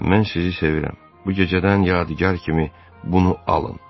"Mən sizi sevirəm, bu gecədən yadigər kimi bunu alın."